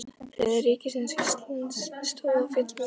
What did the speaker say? Þriðja ríkisins á Íslandi stóð og féll með honum.